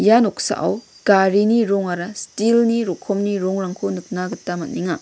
ia noksao garini rongara steel-ni rokomni rongrangko nikna gita man·enga.